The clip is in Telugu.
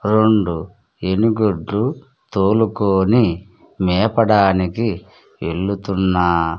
రెండు ఏనుగుడ్లు తోలుకొని మేపడానికి వెళుతున్న.